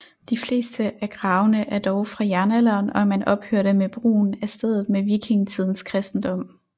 De fleste af gravene er dog fra jernalderen og man ophørte med brugen af stedet med vikingetidens kristendom